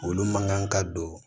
Olu man kan ka don